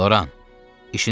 Loran, işiniz artdı.